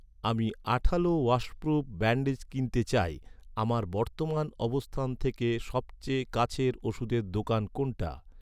আমি আঠালো washproof bandage কিনতে চাই, আমার বর্তমান অবস্থান থেকে সবচেয়ে কাছের ওষুধের দোকান কোনটা?